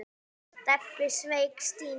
Stebbi sveik Stínu.